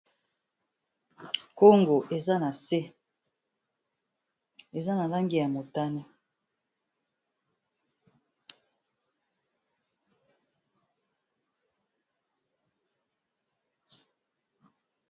Nkongo eza na se eza na lange ya motane.